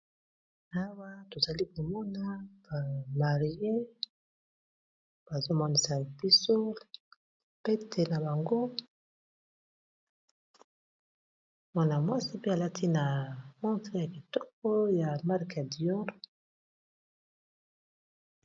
Awa, tozali komona ba marie bazo monisa biso pete na bango. Mwana-mwasi pe, alati na montre ya kitoko ya marc ya dior.